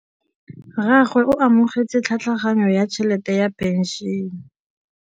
Rragwe o amogetse tlhatlhaganyô ya tšhelête ya phenšene.